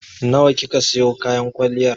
Nawa kika siyo kayan kwalliyar?